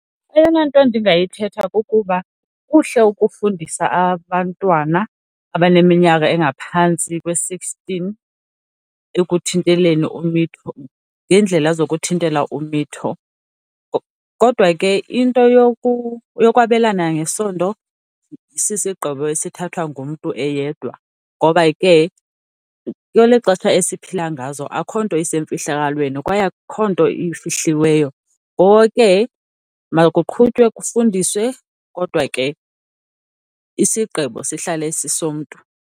Eyona nto ndingayithetha kukuba kuhle ukufundisa abantwana abaneminyaka engaphantsi kwe-sixteen ekuthinteleni umitho, ngeendlela zokuthintela umitho. Kodwa ke into yokwabelana ngesondo sisigqibo esithathwa ngumntu eyedwa ngoba ke kweli xesha esiphila ngazo akukho nto isemfihlakalweni, kwaye akukho nto ifihliweyo. Ngoko ke makuqhutywe kufundiswe kodwa ke isigqibo sihlale sisomntu.